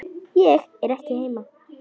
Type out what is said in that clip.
Ég er ekki heima